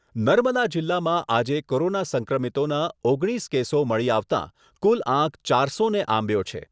નર્મદા જીલ્લામાં આજે કોરોના સંક્રમિતોના ઓગણીસ કેસો મળી આવતાં, કુલ આંક ચારસોને આંબ્યો છે.